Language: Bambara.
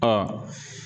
Ɔ